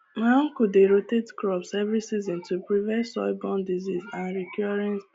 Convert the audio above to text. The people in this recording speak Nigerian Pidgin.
my uncle dey rotate crops every season to prevent soilborne diseases and recurring